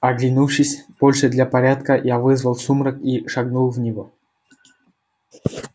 оглянувшись больше для порядка я вызвал сумрак и шагнул в него